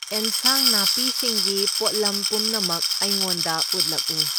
ꯑꯦꯟꯁꯥꯡ ꯅꯥꯄꯤꯁꯤꯡꯒꯤ ꯄꯣꯠꯂꯝ ꯄꯨꯝꯅꯃꯛ ꯑꯩꯉꯣꯟꯗ ꯎꯠꯂꯛꯎ꯫